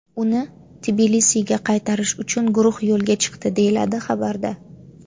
Uni Tbilisiga qaytarish uchun guruh yo‘lga chiqdi”, - deyiladi xabarda.